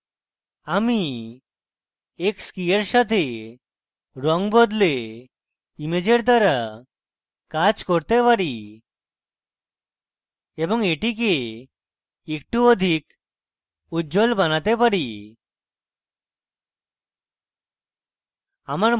আমি x key এর সাথে রঙ বদলে ইমেজের দ্বারা কাজ করতে পারি এবং এটিকে একটু অধিক উজ্জ্বল বানাতে পারি